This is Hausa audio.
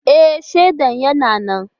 E, shaida yana nan.